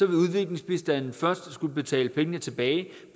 vil udviklingsbistanden først skulle betale pengene tilbage